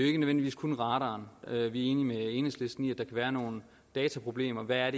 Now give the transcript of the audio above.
ikke nødvendigvis kun radaren vi er enige med enhedslisten i kan være nogle dataproblemer hvad er